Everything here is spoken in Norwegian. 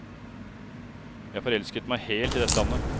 Jeg forelsket meg helt i dette landet.